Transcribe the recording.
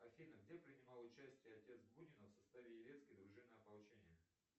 афина где принимал участие отец бунина в составе елецкой дружины ополчения